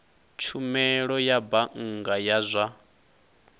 tshumelo ya bannga ya zwa